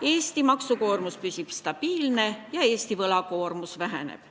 Eesti maksukoormus püsib stabiilne ja riigi võlakoormus väheneb.